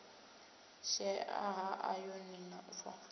shaea ha ayoni na fo